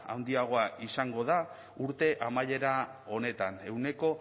handiagoa izango da urte amaiera honetan ehuneko